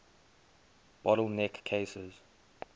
bottle neck cases